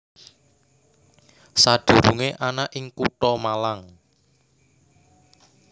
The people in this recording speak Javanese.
Sadurungé ana ing Kutha Malang